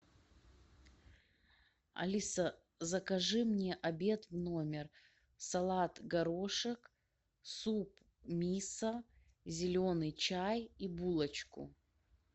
алиса закажи мне обед в номер салат горошек суп мисо зеленый чай и булочку